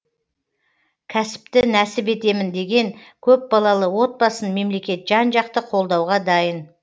кәсіпті нәсіп етемін деген көпбалалы отбасын мемлекет жан жақты қолдауға дайын